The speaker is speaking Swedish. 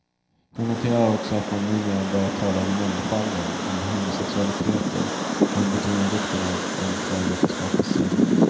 Hon noterar också att man numera börjat tala om mångfalden, om homosexualiteter, och hon betonar vikten av en tvärvetenskaplig syn.